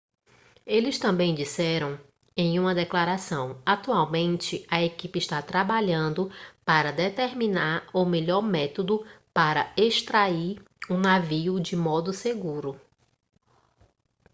eles também disseram em uma declaração atualmente a equipe está trabalhando para determinar o melhor método para extrair o navio de modo seguro